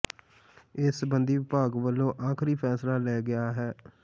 ਇਸ ਸਬੰਧੀ ਵਿਭਾਗ ਵਲੋਂ ਆਖ਼ਰੀ ਫੈਸਲਾ ਲੈ ਲਿਆ ਗਿਆ ਹੈ